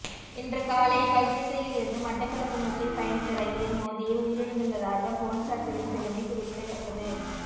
இன்று காலை கல்கிஸ்ஸயில் இருந்து மட்டக்களப்பு நோக்கி பயனித்த ரயிலில் மோதியே உயிரிழந்துள்ளதாக பொலிஸார் தெரிவித்துள்ளமை குறிப்பிடத்தக்கது